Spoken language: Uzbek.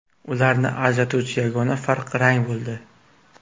Ularni ajratuvchi yagona farq rang bo‘ldi.